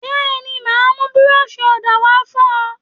Bẹ́ẹ̀ni, màá mú búrọ́ọ̀ṣì ọ̀dà wá fún ẹ.